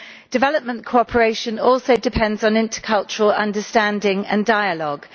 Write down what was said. Development cooperation also depends on intercultural understanding and dialogue.